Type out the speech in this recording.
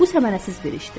Bu səmərəsiz bir işdir.